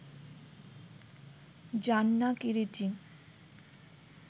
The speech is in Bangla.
জান না কিরীটী